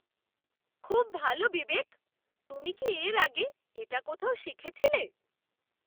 খুব ভালো বিবেক! তুমি কি এর আগে এটা কোথাও শিখেছিলে?